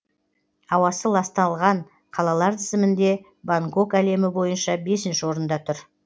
ауасы ласталған қалалар тізімінде бангкок әлем бойынша бесінші орында тұр